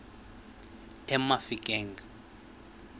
emafikeng